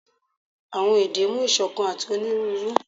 awọn ede mu isokan ati oniruuru